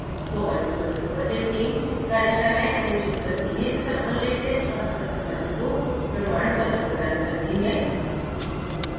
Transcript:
spoken tutorial project teamकार्यशालाएं आयोजित करती है तथा online test pass करने वालों को प्रमाण पत्र प्रदान करती है